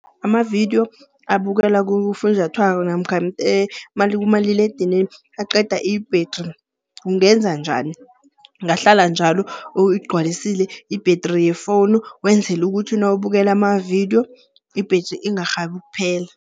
Amavidiyo abukelwa kufunjathwako namkha kumaliledinini aqeda ibhedri. Ungenza njani? Ungahlala njalo uyigcwalisile ibhedri yefowunu wenzele ukuthi nawubukele amavidiyo ibhedri ingarhabi ukuphela.